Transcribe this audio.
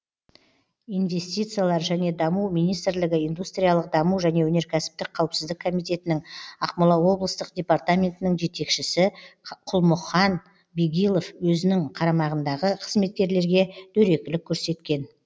инвестициялар және даму министрлігі индустриялық даму және өнеркәсіптік қауіпсіздік комитетінің ақмола облыстық департаментінің жетекшісі құлмұхан бегилов өзінің қарамағындағы қызметкерлерге дөрекілік көрсеткен